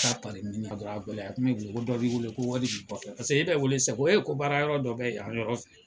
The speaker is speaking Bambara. ko dɔ b'i wele ko wari b'i kɔfɛ paseke e bɛ wele sisan ko heyi baara yɔrɔ dɔ bɛ yan yɔrɔ la.